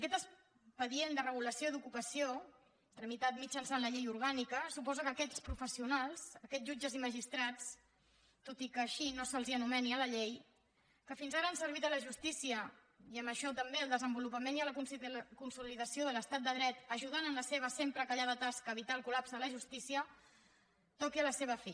aquest expedient de regulació d’ocupació tramitat mitjançant la llei orgànica suposa que aquests professionals aquests jutges i magistrats tot i que així no se’ls anomeni a la llei que fins ara han servit la justícia i amb això també el desenvolupament i la consolidació de l’estat de dret ajudant amb la seva sempre callada tasca a evitar el col·lapse de la justícia toquin a la seva fi